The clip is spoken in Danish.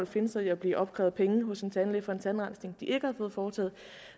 finde sig i at blive opkrævet penge hos en tandlæge for en tandrensning som ikke har fået foretaget